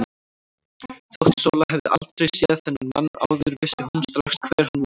Þótt Sóla hefði aldrei séð þennan mann áður vissi hún strax hver hann var.